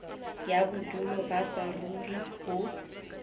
ya bodulo ba saruri ho